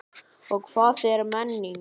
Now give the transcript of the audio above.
Og hvað er menning?